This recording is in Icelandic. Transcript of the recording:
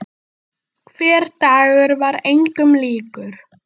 Hver dagur var engum líkur.